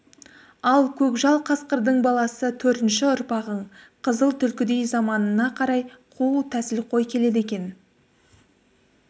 ал көкжал қасқырдың баласы төртінші ұрпағың қызыл түлкідей заманына қарай қу тәсілқой келеді екен